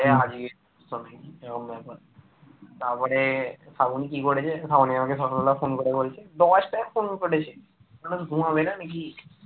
আর ঘুম হবে না নাকি